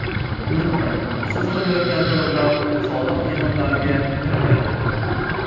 Unutmang, siz to‘layotgan to‘lovlar soliq yig‘imlariga kirmaydi.